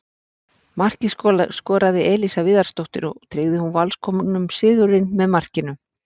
Markið skoraði Elísa Viðarsdóttir og tryggði hún Valskonum sigurinn með markinu.